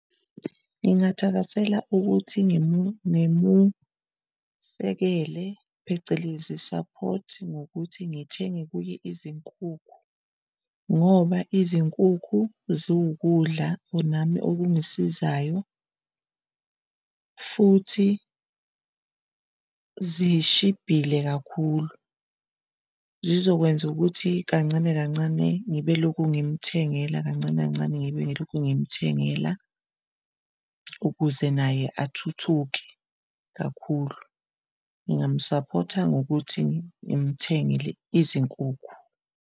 Ngingathakasela ukuthi ngimusekele phecelezi, support, ngokuthi ngithenge kuye izinkukhu ngoba izinkukhu ziwukudla nami ongisizayo. Futhi zishibhile kakhulu, zizokwenza ukuthi kancane kancane ngibe lokhu ngimthengela kancane kancane ngibe ngilokhu ngimthengela ukuze naye athuthuke kakhulu. Ngingamusaphotha ngokuthi ngimthengele izinkukhu.